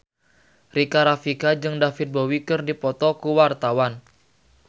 Rika Rafika jeung David Bowie keur dipoto ku wartawan